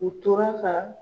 U tora ka